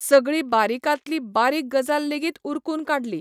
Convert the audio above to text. सगळी बारिकातली बारिक गजाल लेगीत उरकून काडली.